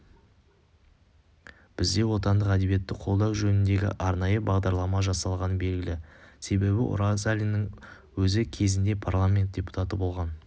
бізде отандық әдебиетті қолдау жөніндегі арнайы бағдарлама жасалғаны белгілі себебі оразалиннің өзі кезінде парламент депутаты болған